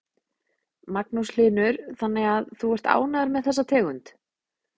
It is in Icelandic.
Magnús Hlynur: Þannig að þú ert ánægður með þessa tegund?